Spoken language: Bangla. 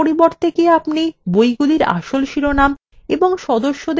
এগুলির পরিবর্তে কি আপনি বইগুলির আসল শিরোনাম এবং সদস্যদের আসল names দেখতে পছন্দ করবেন